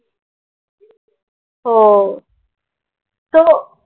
हो